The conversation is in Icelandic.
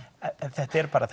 þetta eru bara